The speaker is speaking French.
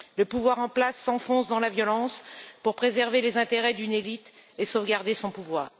Le gouvernement en place s'enfonce dans la violence pour préserver les intérêts d'une élite et sauvegarder son pouvoir.